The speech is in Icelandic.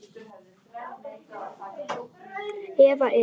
Eða, eða.